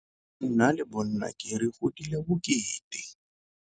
Nna le bonnake re godile bokete.